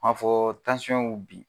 N ma fɔ y'u bin